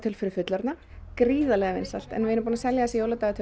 fyrir fullorðna gríðarlega vinsælt en við erum búin að selja þessi dagatöl